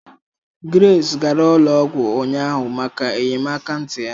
Grace gara ụlọ ọgwụ ụnyaahụ maka enyemaka ntị ya